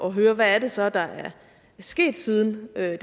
at høre hvad det så er der er sket siden jeg